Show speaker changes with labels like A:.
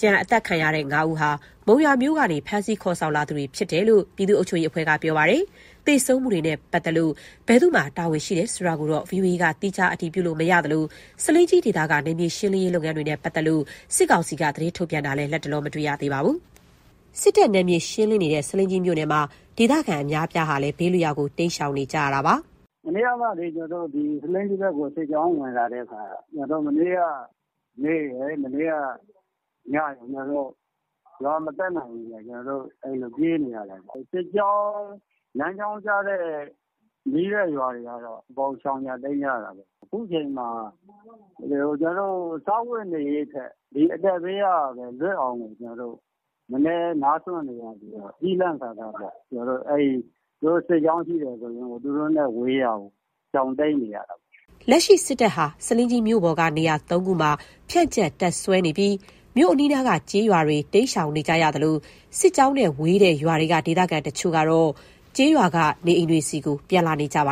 A: ကျန် အသတ်ခံရတဲ့ ၅ ဦးဟာ မုံရွာမြို့ကနေ ဖမ်းဆီးခေါ်ဆောင်လာသူတွေ ဖြစ်တယ်လို့ ပြည်သူ့အုပ်ချုပ်ရေးအဖွဲ့က ပြောပါတယ်။ သေဆုံးမှုတွေနဲ့ ပတ်သက်လို့ ဘယ်သူ့မှာ တာဝန်ရှိတယ်ဆိုတာကိုတော့ ဗွီအိုအေက သီးခြား အတည်ပြုလို့ မရသလို၊ ဆားလင်းကြီး ဒေသက နယ်မြေရှင်းလင်းရေး လုပ်ငန်းတွေနဲ့ ပတ်သက်လို့ စစ်ကောင်စီက သတင်းထုတ်ပြန်တာလည်း လတ်တလော မတွေ့ရပါဘူး။ စစ်တပ်က နယ်မြေရှင်းလင်းနေတဲ့ ဆားလင်းကြီး မြို့နယ်မှာ ဒေသခံအများအပြားဟာလည်း ဘေးလွတ်ရာ တိမ်းရှောင်နေရပါတယ်
B: ။ “မနေ့က ဆားလင်းကြီးဘက်ကို စစ်ကြောင်းဝင်လာတဲ့အခါ မနေ့က နေ့ရယ် မနေ့က ညရယ် ရွာကို မကပ်နိုင်ဘူးခင်ဗျ။ ကျွန်တော်တို့ ပြေးနေတာပေါ့။ စစ်ကြောင်းလမ်းကြောင်းကျတဲ့ နီးတဲ့ရွာတွေကတော့ အကုန်ရှောင်ကြ တိမ်းကြရတာပေါ့။ အခုချိန်မှာ စားဝတ်နေရေးထက် အသက်ဘေးကကို လွတ်အောင် ကျွန်တော်တို့ အမြဲနားစွင့်နေရပြီး ကျီးလန့်စာစားပြီး စစ်ကြောင်းရှိတယ်ဆိုရင် သူတို့နဲ့ဝေးရာကို ရှောင်တိမ်းနေရတာပေါ့
A: ။” လက်ရှိ စစ်တပ်ဟာ ဆားလင်းကြီး မြို့ပေါ်က နေရာ ၃ ခုမှာ ဖြန့်ကျက်တပ်စွဲနေပြီး မြို့အနီးနားက ကျေးရွာတွေဟာ တိမ်းရှောင်နေရသလို စစ်ကြောင်းနဲ့ဝေးတဲ့ရွာတွေက ဒေသခံအချို့ဟာ ကျေးရွာက နေအိမ်တွေဆီကို ပြန်လာနေကြပါ